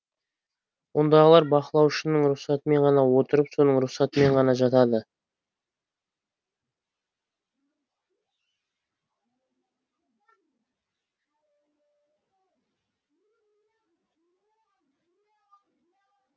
ондағылар бақылаушының рұхсатымен ғана отырып соның рұхсатымен ғана жатады